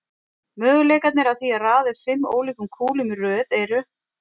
Möguleikarnir á því að raða upp fimm ólíkum kúlum í röð eru